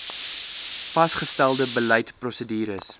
vasgestelde beleid prosedures